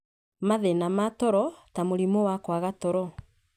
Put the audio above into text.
Mathĩna ma toro ta mũrimũ wa kwaga toro,